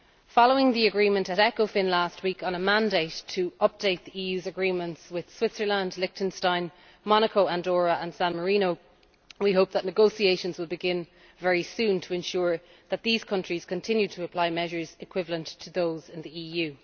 Following the agreement at ECOFIN last week on a mandate to update the EU's agreements with Switzerland, Liechtenstein, Monaco, Andorra and San Marino, we hope that negotiations will begin very soon to ensure that these countries continue to apply measures equivalent to those in the EU.